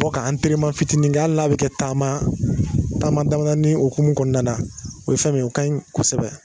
To ka fitinin kɛ, hali n'a bi kɛ taama taama daminɛni ye hokumu kɔnɔna na, o ye fɛn min, o kaɲi kosɛbɛ